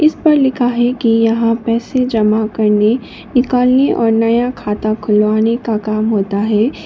इस पर लिखा है की यहां पैसे जमा करने निकालने और नया खाता खुलवाने का काम होता है।